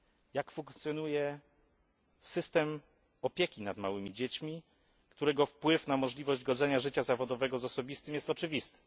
Jak funkcjonuje system opieki nad małymi dziećmi, którego wpływ na możliwość godzenia życia zawodowego z osobistym jest oczywisty?